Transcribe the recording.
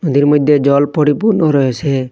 এদের মধ্যে জল পরিপূর্ণ রয়েছে।